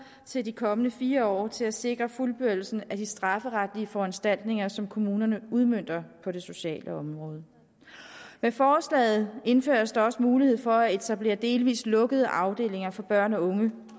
til de kommende fire år til at sikre fuldbyrdelsen af de strafferetlige foranstaltninger som kommunerne udmønter på det sociale område med forslaget indføres der også mulighed for at etablere delvis lukkede afdelinger for børn og unge